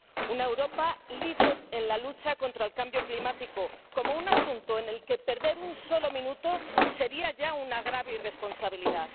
una Europa líder en la lucha contra el cambio climático, como un asunto en el que perder un solo minuto sería ya una grave irresponsabilidad